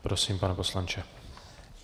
Prosím, pane poslanče.